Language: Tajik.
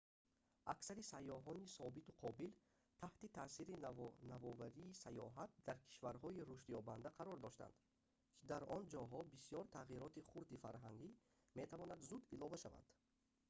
аксари сайёҳони собиту қобил таҳти таъсири навоварии сайёҳат дар кишварҳои рушдёбанда қарор доштанд ки дар он ҷоҳо бисёри тағйироти хурди фарҳангӣ метавонад зуд илова шавад